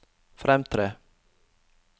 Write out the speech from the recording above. fremtre